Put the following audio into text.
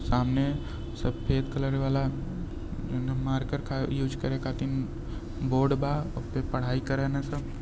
सामने सफेद कलर वाला मार्कर का ईऊस करे खातिन बोर्ड बा ओपे पढ़ाई करेन सब।